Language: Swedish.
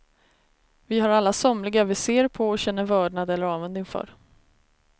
Vi har alla somliga vi ser på och känner vördnad eller avund inför.